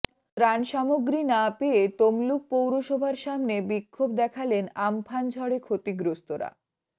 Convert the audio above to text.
ত্রাণ সামগ্রী না পেয়ে তমলুক পৌরসভার সামনে বিক্ষোভ দেখালেন আমফান ঝড়ে ক্ষতিগ্রস্তরা